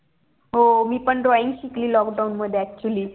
हो मी पण drawing शिकली lockdown मध्ये actually